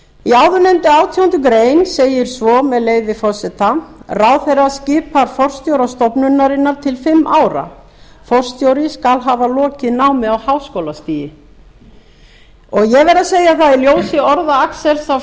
í áðurnefndri átjándu grein segir svo með leyfi forseta ráðherra skipar forstjóra stofnunarinnar til fimm ára í senn forstjóri skal hafa lokið námi á háskólastigi ég verð að segja að í ljósi orða axels